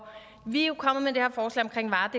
og vi er jo kommet er